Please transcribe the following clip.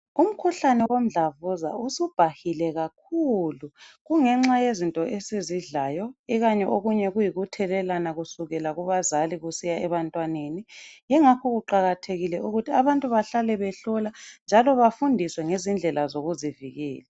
Umkhuhlane womdlavuza usubhahile kakhulu kungenxa yezinto esizidlayo ikanye okunye kuyikuthelelana kusukela kubazali kusiya ebantwaneni. Yingakho kuqakathekile ukuthi abantu bahlale behlola njalo bafundiswe ngezindlela zokuzivikela.